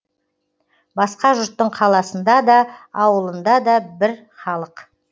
басқа жұрттың қаласында да ауылында да бір халық